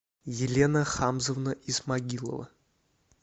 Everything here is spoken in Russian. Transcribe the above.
елена хамзовна исмагилова